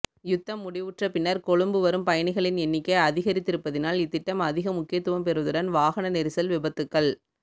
யுத்தம் முடிவுற்ற பின்னர் கொழும்பு வரும் பயணிகளின் எண்ணிக்கை அதிகரித்திருப்பதனால் இத்திட்டம் அதிக முக்கியத்துவம் பெறுவதுடன் வாகன நெரிசல் விபத்துக்கள்